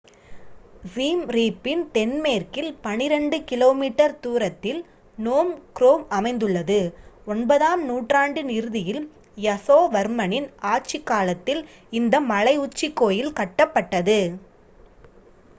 siem reap இன் தென்மேற்கில் 12 கி.மீ தூரத்தில் phnom krom அமைந்துள்ளது 9ஆம் நூற்றாண்டின் இறுதியில் யசோவர்மனின் ஆட்சிக் காலத்தில் இந்த மலை உச்சிக் கோயில் கட்டப்பட்டது